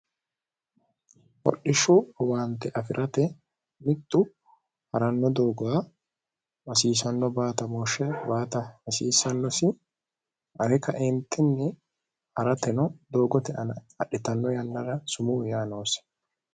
hordhishshu owaante afi'rate mittu haranno doogoha masiisanno baatamooshshe baata hasiisannosi are kaeentinni ha'rateno doogote ana adhitanno yannara sumuu yaa noosi